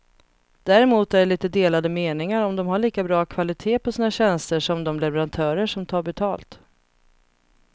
Däremot är det lite delade meningar om de har lika bra kvalitet på sina tjänster som de leverantörer som tar betalt.